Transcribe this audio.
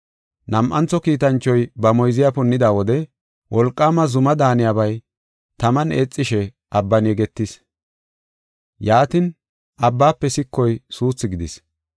Nam7antho kiitanchoy ba moyziya punnida wode wolqaama zuma daaniyabay taman eexishe abban yegetis. Yaatin, abbaafe sikoy suuthu gidis.